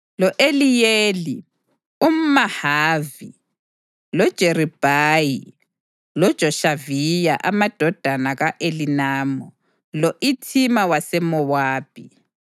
lo-Eliyeli umʼMahavi, loJeribhayi loJoshaviya amadodana ka-Elinamu, lo-Ithima waseMowabi,